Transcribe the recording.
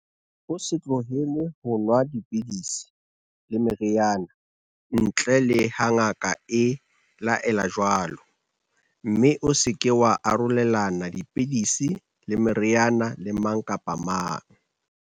Ho se tlohele ho nwa di-pidisi le meriana, ntle le ha ngaka e o laela jwalo, mme o se ke wa arolelana dipidi-si le meriana le mang kapa mang.